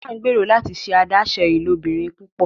Tina ngbero láti ṣe adaṣe ilobirin púpọ